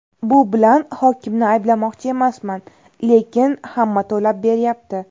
Bu bilan hokimni ayblamoqchi emasman, lekin hamma to‘lab beryapti.